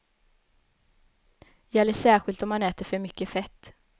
Gäller särskilt om man äter för mycket fett.